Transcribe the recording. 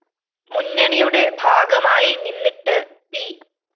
മുന്നണിയുടെ ഭാഗമായി നിന്നിട്ട് പി